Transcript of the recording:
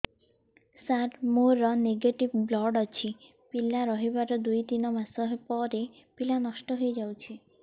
ସାର ମୋର negative blood ଅଛି ପିଲା ରହିବାର ଦୁଇ ତିନି ମାସ ପରେ ପିଲା ନଷ୍ଟ ହେଇ ଯାଉଛି